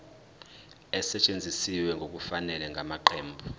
esetshenziswe ngokungafanele ngamaqembu